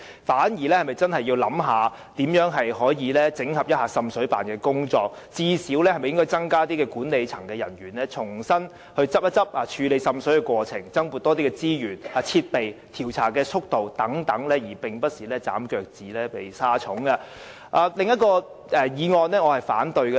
我們反而應考慮整合滲水辦的工作，最低限度應考慮會否增加管理層人員，重新檢討處理滲水過程，增撥資源和添置設備，以及改善調查速度等，而非捨本逐末地削減預算。